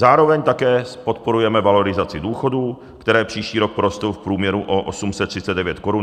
Zároveň také podporujeme valorizaci důchodů, které příští rok porostou v průměru o 839 korun na téměř 15 400 korun.